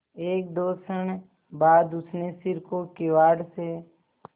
एकदो क्षण बाद उसने सिर को किवाड़ से